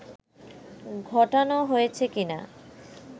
ঘটানো হয়েছে কীনা